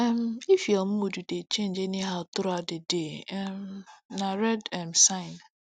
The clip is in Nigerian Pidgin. um if your mood dey change anyhow throughout the day um na red um sign